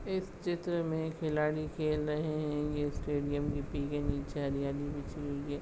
इस चित्र मे खिलाड़ी खेल रहे है ये स्टेडियम नीचे हरियाली बिछी हुई है।